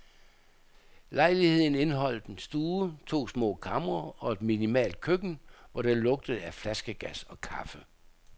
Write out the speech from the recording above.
Lejligheden indeholdt en stue, to små kamre og et minimalt køkken, hvor der lugtede af flaskegas og kaffe.